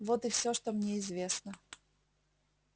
вот и всё что мне известно